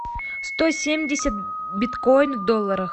сто семьдесят биткоин в долларах